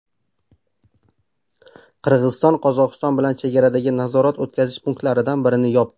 Qirg‘iziston Qozog‘iston bilan chegaradagi nazorat-o‘tkazish punktlaridan birini yopdi.